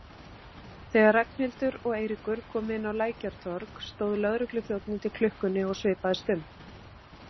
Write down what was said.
Þegar Ragnhildur og Eiríkur komu inn á Lækjartorg stóð lögregluþjónn undir klukkunni og svipaðist um.